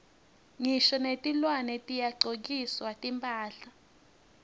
ngisho netilwane tiyagcokiswa timphahla